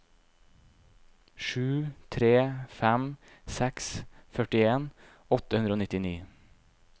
sju tre fem seks førtien åtte hundre og nittini